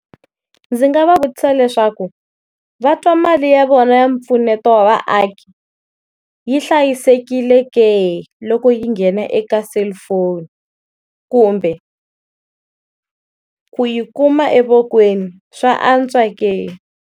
Ndzi nga va vutisa leswaku va twa mali ya vona ya mpfuneto wa vaaki yi hlayisekile ke loko yi nghena eka selufoni, kumbe yo ku yi kuma evokweni swa antswa ke.